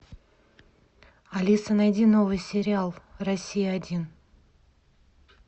алиса найди новый сериал россия один